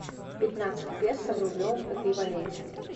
пятнадцать песо в рублевом эквиваленте